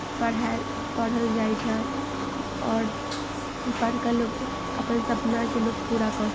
पढ़ाई पढ़ल जाइ छे और पढ़ कर लोग अपन सपना के लोग पूरा कर --